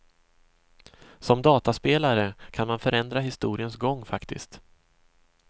Som dataspelare kan man förändra historiens gång faktiskt.